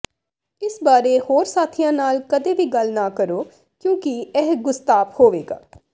ਇਸ ਬਾਰੇ ਹੋਰ ਸਾਥੀਆਂ ਨਾਲ ਕਦੇ ਵੀ ਗੱਲ ਨਾ ਕਰੋ ਕਿਉਂਕਿ ਇਹ ਗੁਸਤਾਪ ਹੋਵੇਗਾ